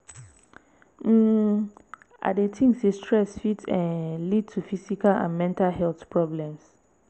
um i dey think say stress fit um lead to physical and mental health problems.